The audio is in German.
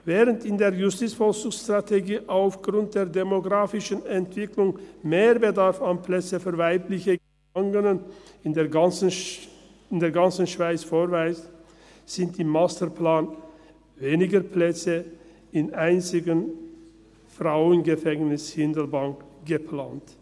Während die JVS aufgrund der demografischen Entwicklung einen Mehrbedarf an Plätzen für weibliche Gefangene in der ganzen Schweiz ausweist, sind im Masterplan weniger Plätze im einzigen Frauengefängnis Hindelbank geplant.